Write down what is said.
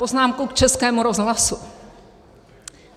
Poznámka k Českému rozhlasu.